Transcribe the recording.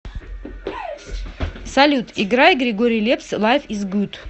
салют играй григорий лепс лайф из гуд